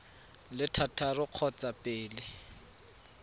le thataro ka kgotsa pele